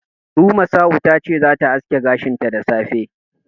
Rumasa'u ta ce zata aske gashinta da safe.